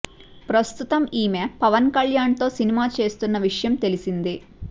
ప్రస్తుతం ఈమె పవన్ కల్యాణ్ తో సినిమా చేస్తున్న విషయం తెలిసిందే